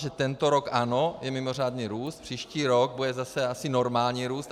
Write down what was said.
Že tento rok ano, je mimořádný růst, příští rok bude zase asi normální růst.